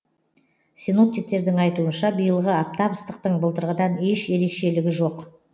синоптиктердің айтуынша биылғы аптап ыстықтың былтырғыдан еш ерекшелігі жоқ